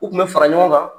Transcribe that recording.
U tun bɛ fara ɲɔgɔn kan